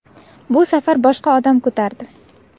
Bu safar boshqa odam ko‘tardi.